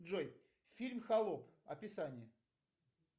джой фильм холоп описание